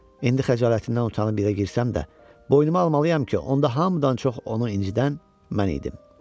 İndi xəcalətindən utanıb yerə girsəm də, boynuma almalıyam ki, onda hamıdan çox onu incidən mən idim.